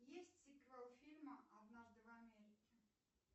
есть сиквел фильма однажды в америке